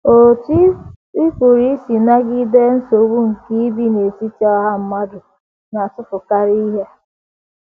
Otú Ị Pụrụ Isi Nagide Nsogbu nke Ibi n’Etiti Ọha Mmadụ Na - atụfukarị Ihe